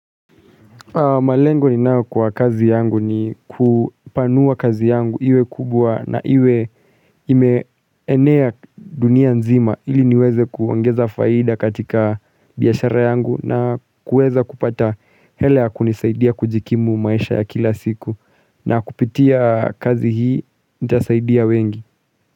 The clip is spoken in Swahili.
Malengo ninayo kwa kazi yangu ni kupanua kazi yangu iwe kubwa na iwe imeenea dunia nzima ili niweze kuongeza faida katika biashara yangu na kuweza kupata hela ya kunisaidia kujikimu maisha ya kila siku na kupitia kazi hii nitasaidia wengi.